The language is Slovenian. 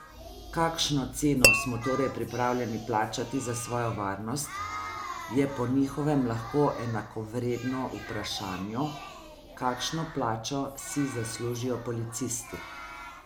Kakšno ceno smo torej pripravljeni plačati za svojo varnost, je po njihovem lahko enakovredno vprašanju, kakšno plačo si zaslužijo policisti.